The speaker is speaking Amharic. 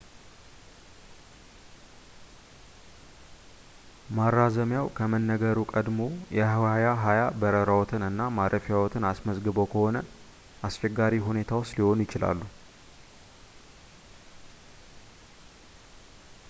ማራዘሚያው ከመነገሩ ቀድመው የ2020 በረራዎትን እና ማረፊያዎትን አስመዝግበው ከሆነ አስቸጋሪ ሁኔታ ውስጥ ሊሆኑ ይችላሉ